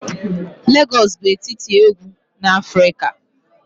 Lagos bụ etiti egwu na Afrika.